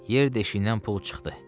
Yer deşiyindən pul çıxdı.